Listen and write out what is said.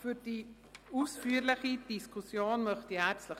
Für die ausführliche Diskussion danke ich herzlich.